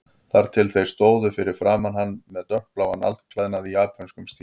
Þar til þeir stóðu fyrir framan hann með dökkbláan alklæðnað í japönskum stíl.